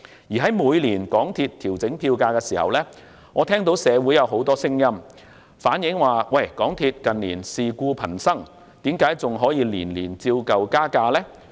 而每當港鐵公司調整票價，我都聽到社會上有很多聲音指港鐵公司近年事故頻生，問為何每年仍可依舊加價？